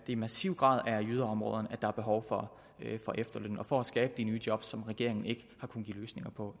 i massiv grad er i yderområderne at der er behov for efterløn og for at skabe de nye job som regeringen